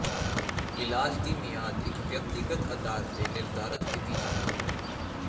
ਇਲਾਜ ਦੀ ਮਿਆਦ ਇੱਕ ਵਿਅਕਤੀਗਤ ਆਧਾਰ ਤੇ ਨਿਰਧਾਰਤ ਕੀਤੀ ਜਾਂਦੀ ਹੈ